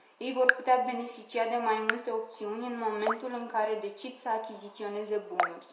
Ei vor putea beneficia de mai multe opțiuni în momentul în care decid să achiziționeze bunuri.